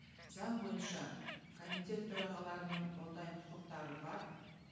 заң бойынша комитет төрағаларының ондай құқықтары бар